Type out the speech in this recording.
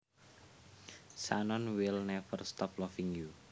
Shannon will never stop loving you